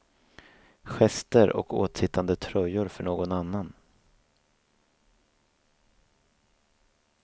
Gester och åtsittande tröjor för någon annan.